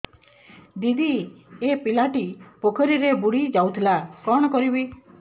ଦିଦି ଏ ପିଲାଟି ପୋଖରୀରେ ବୁଡ଼ି ଯାଉଥିଲା କଣ କରିବି